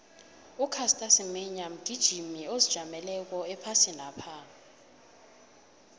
ucaster semenya mgijimi ozijameleko ephasinapha